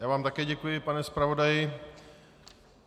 Já vám také děkuji, pane zpravodaji.